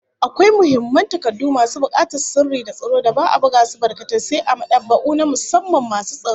Akwai muhimman takardu masu bukatar sirri da tsaro da ba'a buga su barkatai, sai a mad'aba'u na musamman masu tsaro